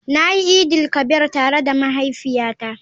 Na yi idin-il-kabir tare da mahaifiyata.